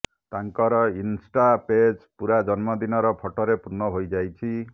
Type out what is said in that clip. ତାଙ୍କର insta page ପୁରା ଜନ୍ମଦିନର ଫଟୋରେ ପୂର୍ଣ୍ଣ ହୋଇଯାଇଛି